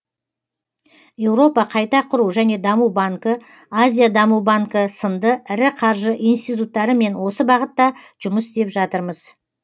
еуропа қайта құру және даму банкі азия даму банкі сынды ірі қаржы институттарымен осы бағытта жұмыс істеп жатырмыз